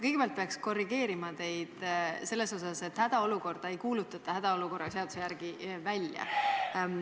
Kõigepealt pean korrigeerima teid selles osas, et hädaolukorda ei kuulutata hädaolukorra seaduse järgi välja.